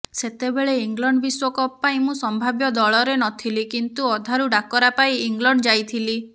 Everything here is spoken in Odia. ସେତେବେଳେ ଇଂଲଣ୍ଡ ବିଶ୍ୱକପ୍ ପାଇଁ ମୁଁ ସମ୍ଭାବ୍ୟ ଦଳରେ ନଥିଲି କିନ୍ତୁ ଅଧାରୁ ଡାକରା ପାଇ ଇଂଲଣ୍ଡ ଯାଇଥିଲି